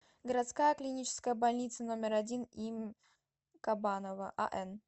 городская клиническая больница номер один им кабанова ан